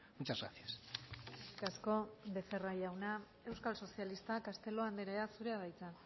muchas gracias eskerrik asko becerra jauna euskal sozialistak castelo andrea zurea da hitza